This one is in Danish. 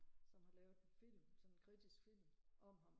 som har lavet en film sådan en kritisk film om ham